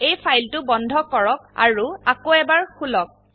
এই ফাইলটো বন্ধ কৰক আৰু আকৌ এবাৰ খুলক